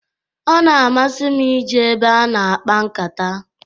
Ọ na-amasi m i je ebe a na-akpa nkata.